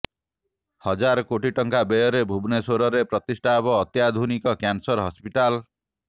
ହଜାର କୋଟି ଟଙ୍କା ବ୍ୟୟରେ ଭୁବନେଶ୍ୱରରେ ପ୍ରତିଷ୍ଠା ହେବ ଅତ୍ୟାଧୁନିକ କ୍ୟାନସର ହସ୍ପିଟାଲ୍